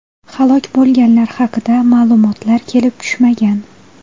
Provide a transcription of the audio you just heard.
Halok bo‘lganlar haqida ma’lumotlar kelib tushmagan.